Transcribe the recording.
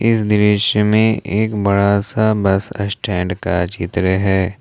इस दृश्य में एक बड़ा सा बस स्टैंड का चित्र है।